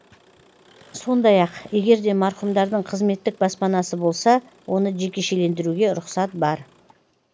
сондай ақ егер де марқұмдардың қызметтік баспанасы болса оны жекешелендіруге рұқсат бар